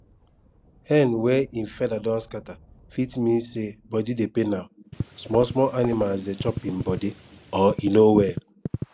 hen wey e feather don scatter fit mean say body dey pain am small small animals dey chop im body or e no well